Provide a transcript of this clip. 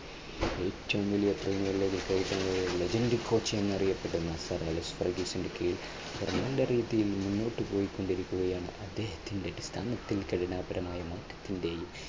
ഏറ്റവും വലിയ legend coach എന്നറിയപ്പെടുന്ന സാർ അലക്സ് വർഗീസിന്റെ കീഴിൽ രീതിയിൽ മുന്നോട്ടു പോയിക്കൊണ്ടിരിക്കുകയാണ് അദ്ദേഹത്തിൻറെ ഘടനാപരമായ മാറ്റത്തിന്റെയും